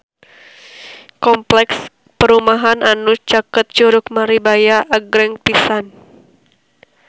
Kompleks perumahan anu caket Curug Maribaya agreng pisan